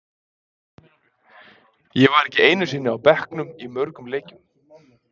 Ég var ekki einu sinni á bekknum í mörgum leikjum.